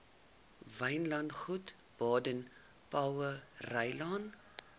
wynlandgoed baden powellrylaan